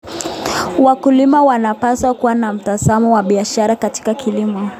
Wakulima wanapaswa kuwa na mtazamo wa biashara katika kilimo.